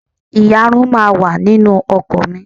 Ìyarun náà wà nínú ọkọ̀ mi.